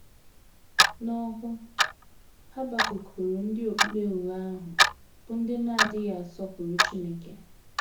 N’ọhụụ, Habakuk hụrụ ndị okpukpe ụgha ahụ, bụ́ ndị na - adịghị asọpụrụ Chineke.